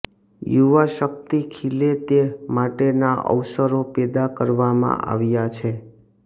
યુવાશક્તિ ખીલે તે માટેના અવસરો પેદા કરવામાં આવ્યા છે